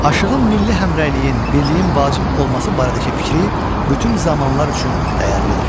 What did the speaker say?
Aşığın milli həmrəyliyin, birliyin vacib olması barədəki fikri bütün zamanlar üçün dəyərlidir.